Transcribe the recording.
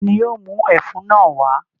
Ta ni yóò mú ẹfun náà wá?